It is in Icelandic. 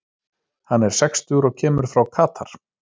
Hann er sextugur og kemur frá Katar.